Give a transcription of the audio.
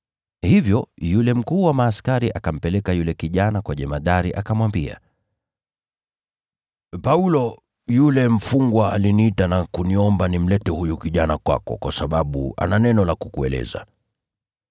Hivyo yule kiongozi wa askari akampeleka yule kijana kwa jemadari, akamwambia, “Paulo yule mfungwa aliniita na kuniomba nimlete huyu kijana kwako, kwa sababu ana neno la kukueleza.”